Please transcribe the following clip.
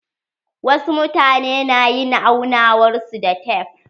Wasu mutane na yin aunawar su da tef.